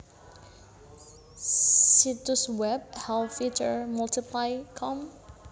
Situs web helvytr multiply com